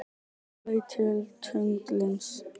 Þetta er þó villandi notkun.